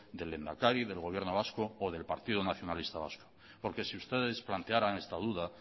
del lehendakari del gobierno vasco o del partido nacionalista vasco porque si ustedes plantearan esta duda